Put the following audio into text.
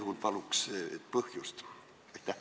Kui vastu, siis paluks põhjendust.